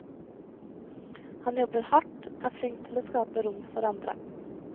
Han jobber hardt, er flink til å skape rom for andre.